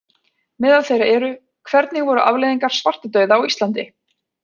Meðal þeirra eru: Hvernig voru afleiðingar svartadauða á Íslandi?